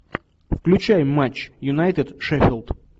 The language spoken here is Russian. включай матч юнайтед шеффилд